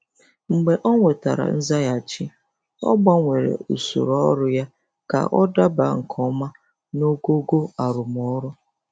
Mgbe o nwetara nzaghachi, ọ gbanwere usoro ọrụ ya ka ọ daba nke ọma naogogo arụmọrụ.